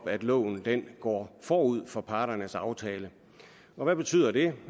at loven går forud for parternes aftale og hvad betyder det